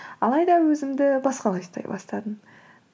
алайда өзімді басқалай ұстай бастадым